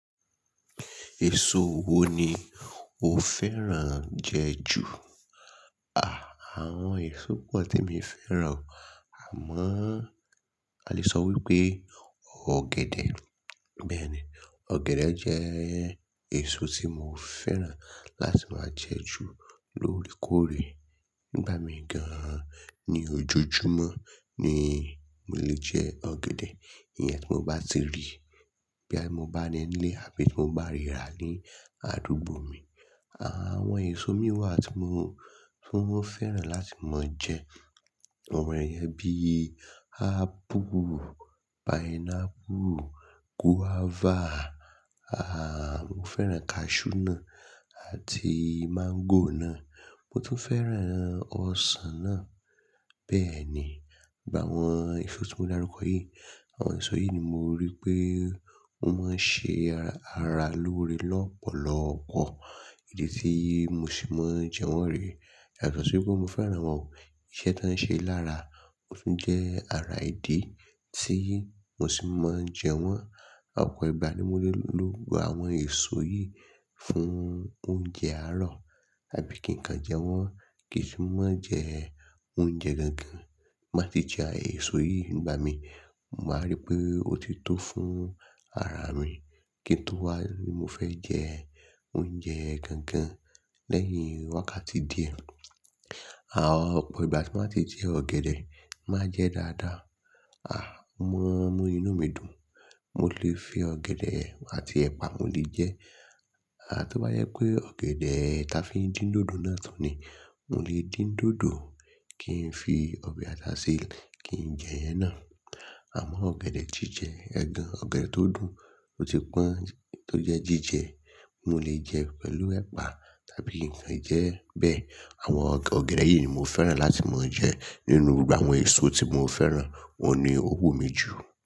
Èso wo ni o fẹ́ràn jẹ ju? Àwọn èso pọ̀ temi fẹ́ràn o, àmọ́ a lè sọ wípé ọ̀gẹ̀dẹ̀. Bẹ́ẹ̀ni, ọ̀gẹ̀dẹ̀ jẹ́ èso tí mo fẹ́ràn láti máa jẹ ju lóòrèkóòrè. Nígbà mí gan-an ní ojojúmọ́ ni mo lè jẹ ọ̀gẹ̀dẹ̀. Ìyẹn tí mo bá ti rí, bóyá bí mo bá ní nílé àbí tí mo bá rí rà ní àdúgbò mi. Àwọn èso mìí wà tí mo tún fẹ́ràn láti máa jẹ, àwọn iyàn bíi apple, pineapple, guava, mo fẹ́ràn cashew náà àti mango náà. Mo tún fẹ́ràn ọsàn náà. Bẹ́ẹ̀ni, gbogbo àwọn èso tí mo dárúkọ yìí, àwọn èso yìí ni mo rí pé ó máa ń ṣe ara lóore lọ́pọ̀lọpọ̀. Ìdí tíì mo ṣe máa ń jẹ wọ́n rè. Yàtọ̀ sí wípé mo fẹ́ràn wọ́n o, iṣẹ́ tan ṣe lára, ó tún jẹ́ ara ìdí tí mo ṣe máa ń jẹ wọ́n. Ọ̀pọ̀ ìgbà ni mo lè lo àwọn èso yìí fún oúnjẹ àárọ̀ àbí kí n kan jẹ wọ́n. Kesu mọ́ jẹ oúnjẹ gangan tí n bá ti jẹ èso yìí ngbami màá rí pé ó tito fún ara mi kí n tú wá ni mo fẹ́ jẹ oúnjẹ gangan lẹ́yìn wákàtí díẹ̀. Ọ̀pọ̀ ìgbà tí mo bá ti jẹ ọ̀gẹ̀dẹ̀, màá ń jẹ dáadáa. Ó máa ń mú inú mi dùn. Mo lè fi ọ̀gẹ̀dẹ̀ àti ẹ̀pà mo lè jẹẹ́. Tó bá jẹ́ pé ọ̀gẹ̀dẹ̀ táa fi ń dín dòdò náà tún ni, mo lè dín dòdò kí n fi ọbẹ̀ ata sí i kí n jẹ̀yẹn náà. Àmọ́ ọ̀gẹ̀dẹ̀ jíjẹ, ẹ̀gàn ọ̀gẹ̀dẹ̀ tó dùn, tó ti pọ́n, tó jẹ́ jíjẹ, mo lè jẹ pẹ̀lú ẹ̀pà tàbí kí n kàn jẹẹ́ bẹ́ẹ̀. Àwọn ọ̀gẹ̀dẹ̀ yìí ni mo fẹ́ràn láti máa jẹ nínú gbogbo àwọn èso tí mo fẹ́ràn, òun ni ó wù mí jù.